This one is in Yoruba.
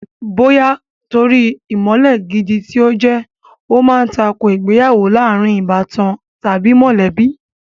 Bóyá nítorí ìmọ̀le gidi tí ó jẹ́, ó ma ń tako ìgbéyàwó láàrin ìbátan tàbí mọ̀lẹ́bí